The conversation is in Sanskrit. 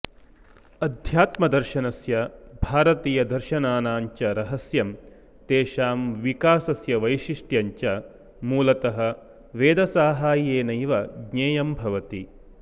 अध्यात्मदर्शनस्य भारतीयदर्शनानाश्च रहस्यं तेषां विकासस्य वैशिष्टयञ्च मूलतः वेदसाहाय्येनैव ज्ञेयं भवति